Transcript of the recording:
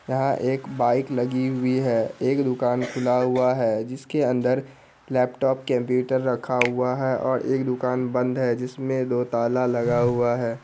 यहाँ एक बाइक लगी हुई है | एक दूकान खुला हुआ है जिसके अंदर लैपटॉप कंप्यूटर रखा हुआ है और एक दुकान बंद है जिसमे दो ताला लगा हुआ है ।